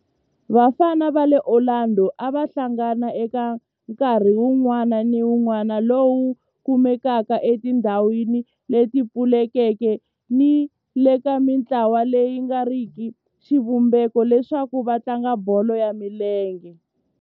Vafana va le Orlando a va hlangana eka nkarhi wun'wana ni wun'wana lowu kumekaka etindhawini leti pfulekeke ni le ka mintlawa leyi nga riki ya xivumbeko leswaku va tlanga bolo ya milenge.